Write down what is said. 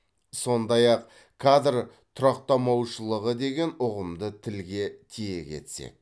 сондай ақ кадр тұрақтамаушылығы деген ұғымды тілге тиек етсек